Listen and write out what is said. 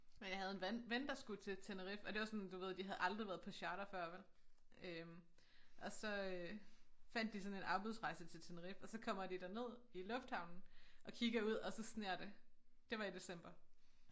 Men jeg havde en vand ven der skulle til Tenerife og det var sådan du ved de havde aldrig været på charter før vel øh og så øh fandt de sådan en afbudsrejse til Tenerife og så kommer de derned i lufthavnen og kigger ud og så sner det det var i december